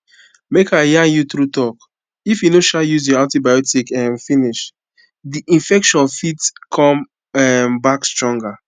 make i yarn you true talk if you no um use your antibotics um finish the infection fit come um back stronger